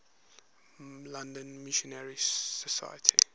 london missionary society